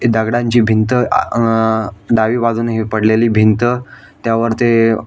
दगडांची भिंत अ डावि बाजूनी ही पडलेली भिंत त्यावर ते --